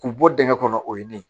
K'u bɔ dingɛ kɔnɔ o ye ne ye